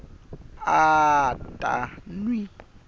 a a ta n wi